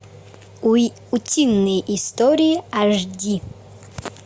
утиные истории аш ди